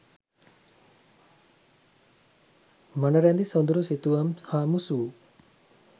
මනරැඳි සොඳුරු සිතුවම් හා මුසුවූ